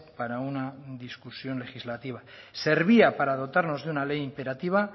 para una discusión legislativa servía para dotarnos de una ley imperativa